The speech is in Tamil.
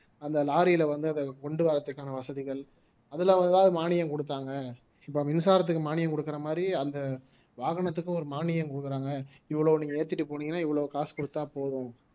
அந்த lorry யிலே வந்து அதை கொண்டு வர்றதுக்கான வசதிகள் அதிலே அதுல ஏதாவது மானியம் கொடுத்தாங்க இப்ப மின்சாரத்துக்கு மானியம் கொடுக்கிற மாதிரி அந்த வாகனத்துக்கு ஒரு மானியம் கொடுக்குறாங்க இவ்வளவு நீங்க ஏத்திட்டு போனீங்கன்னா இவ்வளவு காசு கொடுத்தால் போதும்